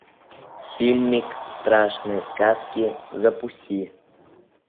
фильмик страшные сказки запусти